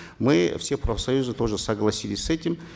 мы все профсоюзы тоже согласились с этим